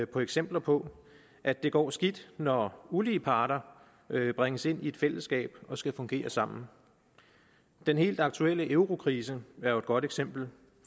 på eksempler på at det går skidt når ulige parter bringes ind i et fællesskab og skal fungere sammen den helt aktuelle eurokrise er jo et godt eksempel